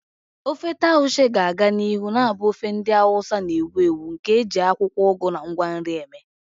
Ofe Taushe ga-aga n'ihu na-abụ ofe ndị Hausa na-ewu ewu nke e ji akwụkwọ ugu na ngwa nri eme.